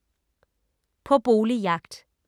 På boligjagt